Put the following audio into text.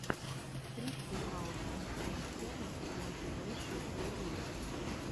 стрит векаут энд кэлистэникс мотивэйшен первый выпуск